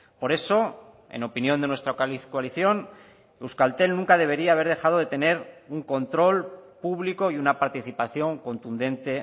por eso en opinión de nuestra coalición euskaltel nunca debería haber dejado de tener un control público y una participación contundente